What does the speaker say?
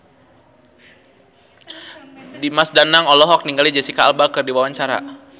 Dimas Danang olohok ningali Jesicca Alba keur diwawancara